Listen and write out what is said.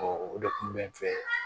o de kun bɛ n fɛ